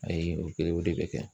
Ayi o kɛlenw de bɛ kɛ.